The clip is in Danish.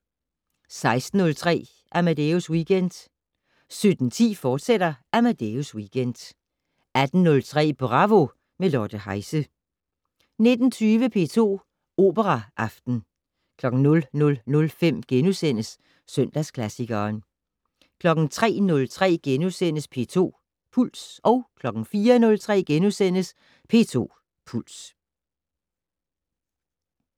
16:03: Amadeus Weekend 17:10: Amadeus Weekend, fortsat 18:03: Bravo - med Lotte Heise 19:20: P2 Operaaften 00:05: Søndagsklassikeren * 03:03: P2 Puls * 04:03: P2 Puls *